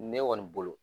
Ne kɔni bolo